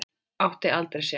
Átti aldrei sjens.